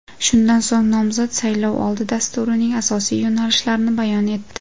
Shundan so‘ng nomzod saylovoldi dasturining asosiy yo‘nalishlarini bayon etdi.